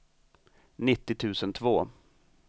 nittio tusen två